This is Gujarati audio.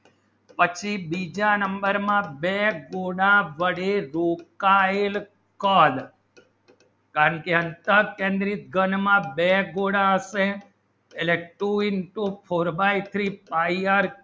પછી બીજા number માં બે ગુના બડી દુકાયેલ કલ અને શાસન કેન્દ્રિત ઘણ માં બે ગુના અસે two into four by three pie r